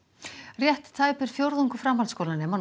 rétt tæpur fjórðungur framhaldsskólanema